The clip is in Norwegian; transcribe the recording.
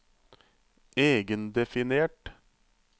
egendefinert